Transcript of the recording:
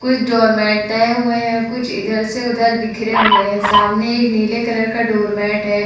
कुछ डोरमेट हुए है। कुछ इधर से उधर बिखरे हुए है। समाने एक नीले कलर का डोरमेट है।